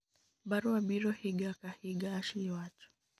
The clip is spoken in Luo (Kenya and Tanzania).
barua biro higa ka higa,'Ashley wacho